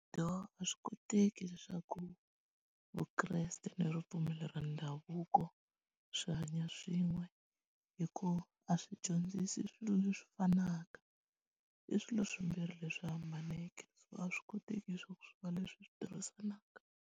Dooh, a swi koteki leswaku Vukreste ni ripfumelo ra ndhavuko swi hanya swin'we hikuva a swi dyondzisi swilo leswi fanaka i swilo swimbhiri leswi hambaneke so a swi koteki leswaku swi va leswi swi tirhisanaka.